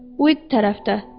Uid tərəfdə.